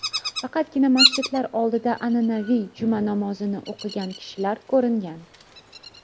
Faqatgina masjidlar oldida an’anaviy juma namozini o‘qigan kishilar ko‘ringan.